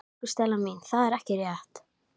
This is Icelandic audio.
Bergmál af orðum Júlíu, orðum Arndísar, móður hennar.